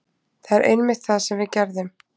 Það er einmitt það sem við gerðum.